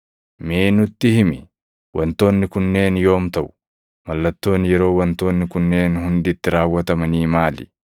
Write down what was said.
“Mee nutti himi; wantoonni kunneen yoom taʼu? Mallattoon yeroo wantoonni kunneen hundi itti raawwatamanii maali?”